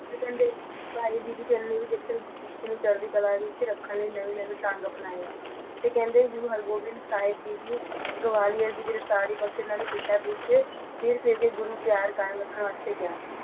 ਫਿਰ ਕਹਿੰਦੇ ਗੁਰਸਿੱਖੀ ਨੂੰ ਚੜ੍ਹਦੀ ਕਲਾ ਵਿੱਚ ਰੱਖਣ ਲਈ ਨਵੇਂ ਨਵੇ ਤਾਂਘ ਅਪਨਾੲ ਫਿਰ ਕਹਿੰਦੇ ਗੁਰੂ ਹਰਗੋਬਿੰਦ ਸਾਹਿਬ ਜੀ ਦੀ ਗੁਆਲੀਅਰ ਦੀ ਗਿਰਫਤਾਰੀ ਵਕਤ ਇਨ੍ਹਾਂ ਨੇ ਪਿੰਡਾਂ ਵਿੱਚ ਸਿਰਫ ਗੁਰੂ ਪਿਆਰ ਰੱਖਣ ਨੂੰ ਕਿਹਾ